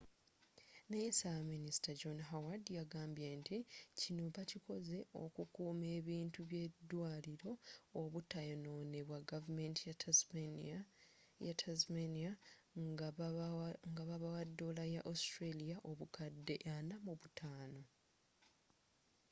naye sabaminista john howard yagambye nti kino bakikoze okukuma ebintu by’eddwaliro obutayinonebwa gavumenti ya tasmania nga babawa dolla ya australia obukadde ana mu butano aud$45